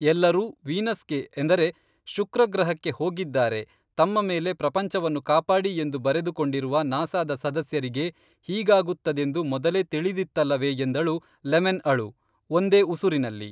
ಎಲ್ಲರೂ ವೀನಸ್ಗೆ ಎಂದರೆ ಶುಕ್ರಗ್ರಹಕ್ಕೆ ಹೋಗಿದ್ದಾರೆ ತಮ್ಮ ಮೇಲೆ ಪ್ರಪಂಚವನ್ನು ಕಾಪಾಡಿ ಎಂದು ಬರೆದು ಕೊಂಡಿರುವ ನಾಸಾದ ಸದಸ್ಯರಿಗೆ ಹೀಗಾಗುತ್ತದೆಂದು ಮೊದಲೇ ತಿಳಿದಿತ್ತಲ್ಲವೇ ಎಂದಳು ಲೆಮನ್‌ಅಳು ಒಂದೇ ಉಸುರಿನಲ್ಲಿ